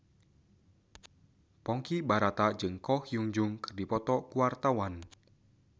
Ponky Brata jeung Ko Hyun Jung keur dipoto ku wartawan